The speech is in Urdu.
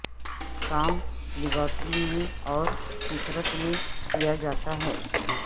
کام لیبارٹری میں اور فطرت میں کیا جاتا ہے